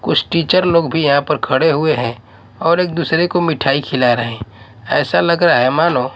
कुछ टीचर लोग भी यहां पर खड़े हुए हैं और एक दूसरे को मिठाई खिला रहे हैं ऐसा लग रहा है मानो--